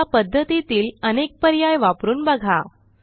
ह्या पध्दतीतील अनेक पर्याय वापरून बघा